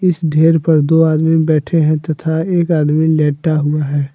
इस ढेर पर दो आदमी बैठे हैं तथा एक आदमी लेटा हुआ है।